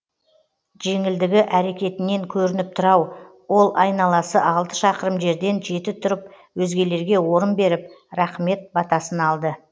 жеңілдігі әрекетінен көрініп тұр ау ол айналасы алты шақырым жерден жеті тұрып өзгелерге орын беріп рахымет батасын алды